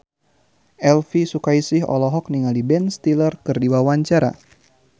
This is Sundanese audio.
Elvy Sukaesih olohok ningali Ben Stiller keur diwawancara